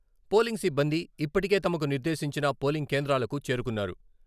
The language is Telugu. పోలింగ్ సిబ్బంది ఇప్పటికే తమకు నిర్దేశించిన పోలింగ్ కేంద్రాలకు చేరుకున్నారు.